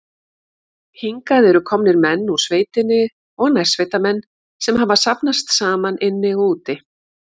Hingað eru komnir menn úr sveitinni og nærsveitamenn, sem hafa safnast saman inni og úti.